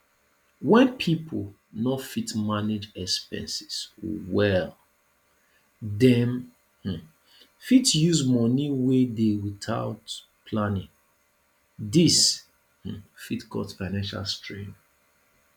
when pipo no fit manage expenses well dem um fit use money wey dey without planning this um fit cause financial strain